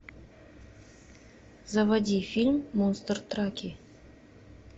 заводи фильм монстр траки